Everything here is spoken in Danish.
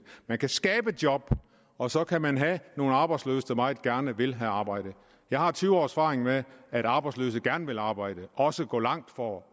man kan skabe job og så kan man have nogle arbejdsløse der meget gerne vil arbejde jeg har tyve års erfaring med at arbejdsløse gerne vil arbejde og også gå langt for at